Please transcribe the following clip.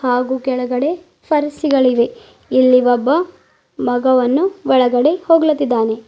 ಹಾಗೂ ಕೆಳಗಡೆ ಪರ್ಸಿಗಳು ಇವೆ ಇಲ್ಲಿ ಒಬ್ಬ ಮಗವನ್ನು ಒಳಗಡೆ ಹೋಗ್ಲತಿದಾನೆ.